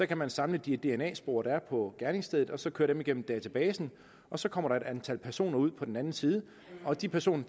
kan man samle de dna spor der er på gerningsstedet og så køre dem igennem databasen og så kommer der et antal personer ud på den anden side og de personer